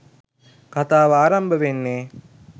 කථාව අරම්භ වෙන්නේ